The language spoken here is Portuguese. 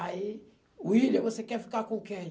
Aí, William, você quer ficar com quem?